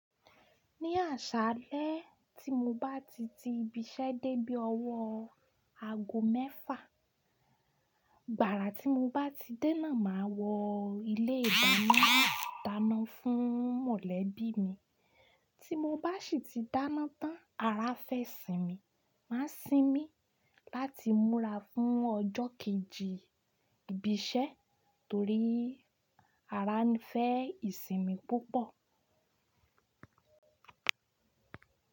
Ní àṣálẹ́ tí mo bá ti ti ibi iṣẹ́ dé bí ọwọ́ aago mẹ́fà, gbàrà tí mo bá ti dé náà máa wọ ilé ìdáná dáná fún mọ̀lẹ́bí mi. Tí mo bá sì ti dáná tán, ara fẹ́ sinmi, máa sinmi láti múra fún ọjọ́ kejì ibi iṣẹ́ torí ara ń fẹ́ ìsinmi púpọ̀.